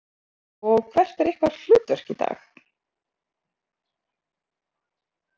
Erla Björg: Og hvert er ykkar hlutverk í dag?